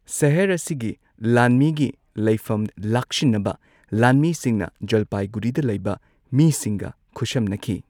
ꯁꯍꯔ ꯑꯁꯤꯒꯤ ꯂꯥꯟꯃꯤꯒꯤ ꯂꯩꯐꯝ ꯂꯥꯛꯁꯤꯟꯅꯕ ꯂꯥꯟꯃꯤꯁꯤꯡꯅ ꯖꯥꯜꯄꯥꯏꯒꯨꯔꯤꯗ ꯂꯩꯕ ꯃꯤꯁꯤꯡꯒ ꯈꯨꯠꯁꯝꯅꯈꯤ꯫